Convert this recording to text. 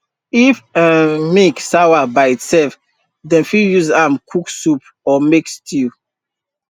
if um milk sawa by itself dem fit use am cook soup or make stew